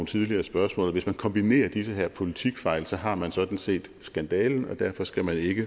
tidligere spørgsmål og hvis man kombinerer de her politikfejl har man sådan set skandalen derfor skal man ikke